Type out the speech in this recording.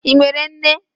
Ị nwere nne?